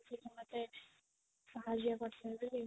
ମତେ ସାହାଯ୍ୟ